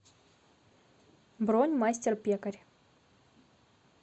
бронь мастер пекарь